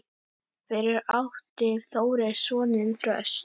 Fyrir átti Þórir soninn Þröst.